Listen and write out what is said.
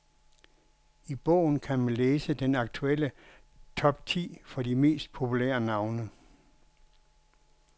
I bogen kan man læse den aktuelle top ti for de mest populære navne.